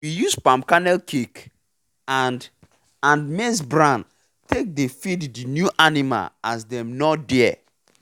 we use palm kernel cake and and maize bran take dey feed the new animl as dem nor dare